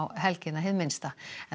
helgina hið minnsta